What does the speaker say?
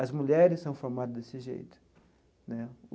As mulheres são formadas desse jeito né.